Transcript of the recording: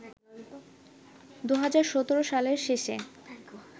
২০১৭ সালের শেষে